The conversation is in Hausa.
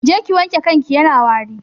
Je ki wanke kanki yana wari